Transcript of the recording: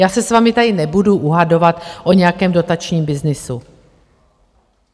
Já se s vámi tady nebudu uhadovat o nějakém dotačním byznysu.